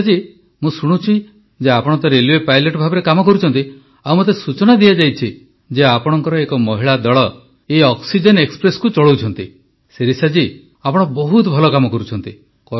ଶିରିଷା ଜୀ ମୁଁ ଶୁଣିଛି ଯେ ଆପଣ ତ ରେଲୱେ ପାଇଲଟ୍ ଭାବେ କାମ କରୁଛନ୍ତି ଆଉ ମୋତେ ସୂଚନା ଦିଆଯାଇଛି ଯେ ଆପଣଙ୍କର ଏକ ମହିଳା ଦଳ ଏଇ ଅକ୍ସିଜେନ ଏକ୍ସପ୍ରେସକୁ ଚଳାଉଛନ୍ତି ଶିରିଷା ଜୀ ଆପଣ ବହୁତ ଭଲ କାମ କରୁଛନ୍ତି